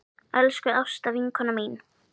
Elsku Ásta vinkona mín.